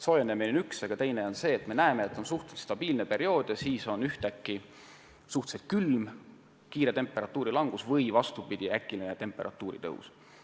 Soojenemine on üks asi, aga teine on see, et me näeme, et vahepeal on suhteliselt stabiilne periood ja siis ühtäkki on suhteliselt kiire temperatuuri langus või vastupidi, äkiline temperatuuri tõus.